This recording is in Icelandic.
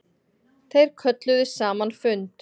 Þeir kölluðu saman fund.